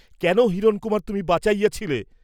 কেন হিরণকুমার তুমি বাঁচাইয়াছিলে?